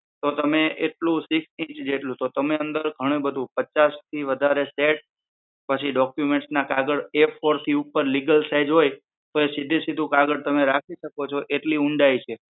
તો એ તમે એટલું અંદર ઘણું બધું થી વધારે set પછી documents ના કાગળ A four થી ઉપર legel size હોય તો એ સીધે સીધું કાગળ તમે રાખી શકો છો એટલી ઊંડાઈ છે